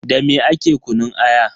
Dame ake kunun aya?